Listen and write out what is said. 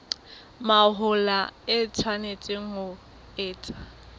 mahola e tshwanetse ho etswa